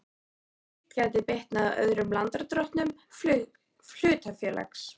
Slíkt gæti bitnað á öðrum lánardrottnum hlutafélags.